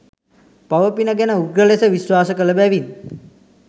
පව පින ගැන උග්‍ර ලෙස විශ්වාස කල බැවින්